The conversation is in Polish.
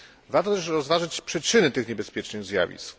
Warto też rozważyć przyczyny tych niebezpiecznych zjawisk.